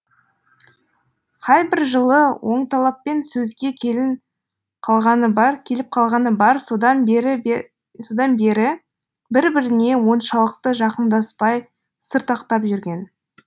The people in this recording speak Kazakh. қайбір жылы оңталаппен сөзге келіп қалғаны бар содан бері бір біріне оншалықты жақындаспай сыртақтап жүрген